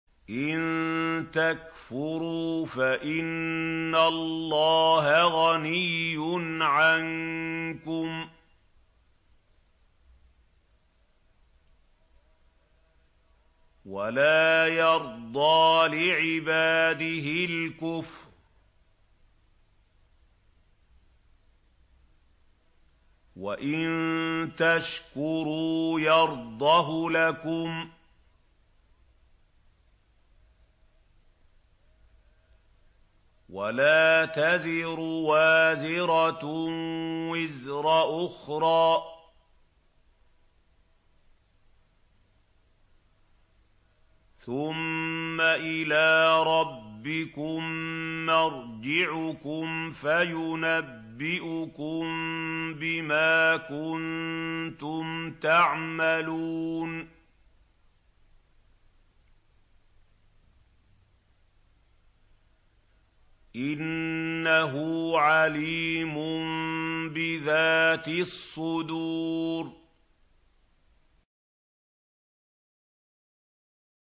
إِن تَكْفُرُوا فَإِنَّ اللَّهَ غَنِيٌّ عَنكُمْ ۖ وَلَا يَرْضَىٰ لِعِبَادِهِ الْكُفْرَ ۖ وَإِن تَشْكُرُوا يَرْضَهُ لَكُمْ ۗ وَلَا تَزِرُ وَازِرَةٌ وِزْرَ أُخْرَىٰ ۗ ثُمَّ إِلَىٰ رَبِّكُم مَّرْجِعُكُمْ فَيُنَبِّئُكُم بِمَا كُنتُمْ تَعْمَلُونَ ۚ إِنَّهُ عَلِيمٌ بِذَاتِ الصُّدُورِ